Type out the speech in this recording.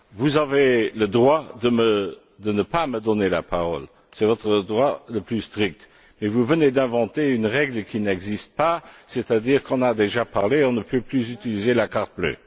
Vous avez le droit de ne pas me donner la parole, c'est votre droit le plus strict, mais vous venez d'inventer une règle qui n'existe pas, c'est à dire que lorsqu'on a déjà parlé, on ne peut plus utiliser le carton bleu.